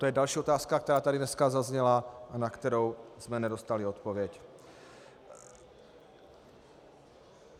To je další otázka, která tady dneska zazněla a na kterou jsme nedostali odpověď.